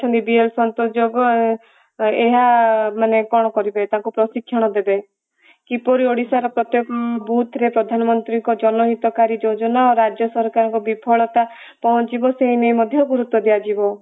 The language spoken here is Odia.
ଅଛନ୍ତି dn ସନ୍ତୋଷ ଏହା ମାନେ କଣ କରିବେ ତାଙ୍କୁ ପ୍ରଶିକ୍ଷଣ ଦେବେ କିପରି ଓଡିଶାର ପ୍ରତ୍ଯେକ ବୁଥରେ ପ୍ରଧାନମନ୍ତ୍ରୀଙ୍କ ଜନହିତକାରୀ ଯୋଜନା ରାଜ୍ୟ ସରକାରଙ୍କ ବିଫଳତା ପହଞ୍ଚିବା ସେଇ ନେଇ ମଧ୍ୟ ଗୁରୁତ୍ଵ ଦିଆଯିବ ।